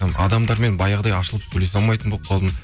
адамдармен баяғыдай ашылып сөйлесе алмайтын болып қалдым